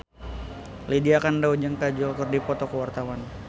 Lydia Kandou jeung Kajol keur dipoto ku wartawan